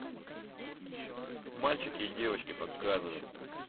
мальчики и девочки показывай